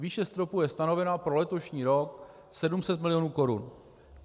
Výše stropu je stanovena pro letošní rok 700 milionů korun.